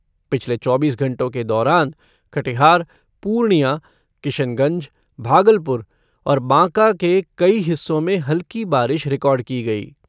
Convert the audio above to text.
पिछले चौबीस घंटों के दौरान कटिहार, पूर्णिया, किशनगंज, भागलपुर और बांका के कई हिस्सों में हल्की बारिश रिकॉर्ड की गई।